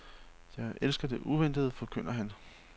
Jeg elsker det uventede, forkynder han.